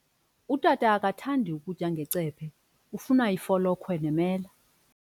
Utata akathandi kutya ngecephe, ufuna ifolokhwe nemela.